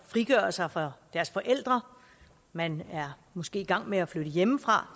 frigøre sig fra deres forældre man er måske i gang med at flytte hjemmefra